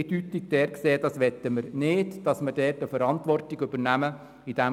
Wir haben klar gesagt, dass wir in diesem Punkt nicht die Verantwortung übernehmen wollen.